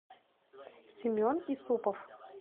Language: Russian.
семен исупов